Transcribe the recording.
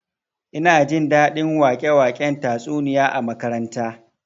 Ina jin daɗin wake-waken tatsuniya a makaranta